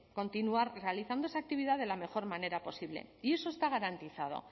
continuar realizando esa actividad de la mejor manera posible y eso está garantizado